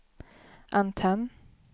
antenn